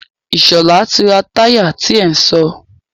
Ìṣọ̀lá ti ra táyà ti ẹ sọ.